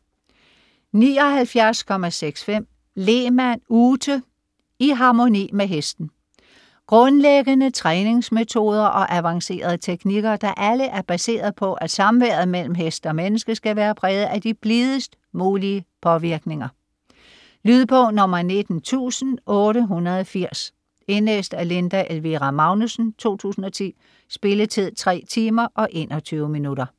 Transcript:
79.65 Lehmann, Ute: I harmoni med hesten Grundlæggende træningsmetoder og avancerede teknikker, der alle er baseret på at samværet mellem hest og menneske, skal være præget af de blidest mulige påvirkninger. Lydbog 19880 Indlæst af Linda Elvira Magnussen, 2010. Spilletid: 3 timer, 21 minutter.